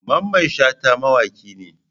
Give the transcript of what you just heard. Mamman Shata mawaki ne.